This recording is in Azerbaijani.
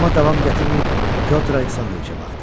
Amma davam gətirməyib Pyotr Aleksandroviçə baxdım.